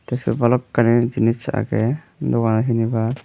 te sut bhalokkani jinich aage doganot hinibar.